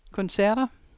koncerter